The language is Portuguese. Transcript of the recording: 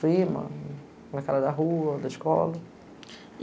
Prima, na cara da rua, da escola.